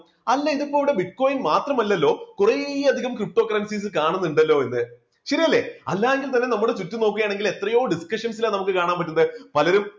അല്ല ഇത് ഇപ്പോ ഇവിടെ bitcoin മാത്രമല്ലല്ലോ കുറെയധികം cripto currencies കാണുന്നുണ്ടല്ലോ എന്ന്, ശരിയല്ലേ? അല്ലാ എങ്കിൽ തന്നെ നമ്മുടെ ചുറ്റും നോക്കുകയാണെങ്കിൽ എത്രയോ discussions ൽ ആണ് നമുക്ക് കാണാൻ പറ്റുന്നത് പലരും